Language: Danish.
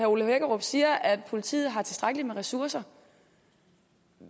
ole hækkerup siger at politiet har tilstrækkelige ressourcer